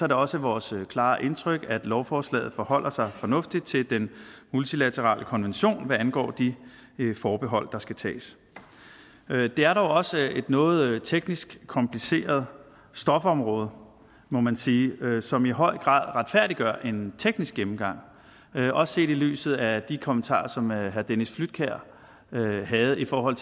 det også vores klare indtryk at lovforslaget forholder sig fornuftigt til den multilaterale konvention hvad angår de forbehold der skal tages det er dog også et noget teknisk kompliceret stofområde må man sige som i høj grad retfærdiggør en teknisk gennemgang også set i lyset af de kommentarer som herre dennis flydtkjær havde i forhold